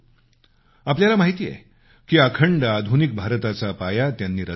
आपल्याला माहिती आहे की अखंड आधुनिक भारताचा पाया त्यांनी रचला होता